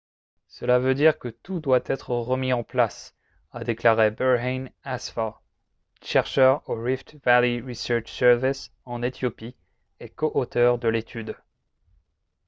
« cela veut dire que tout doit être remis en place » a déclaré berhane asfaw chercheur au rift valley research service en éthiopie et co-auteur de l'étude